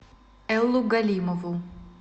эллу галимову